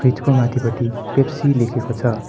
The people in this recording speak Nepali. फ्रिजको माथिपट्टि पेप्सी लेखेको छ।